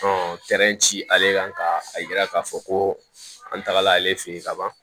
ci ale kan ka a yira k'a fɔ ko an tagala ale fɛ yen ka ban